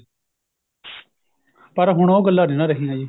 ਪਰ ਹੁਣ ਉਹ ਗੱਲਾਂ ਨਹੀਂ ਨਾ ਰਹੀਆਂ ਜੀ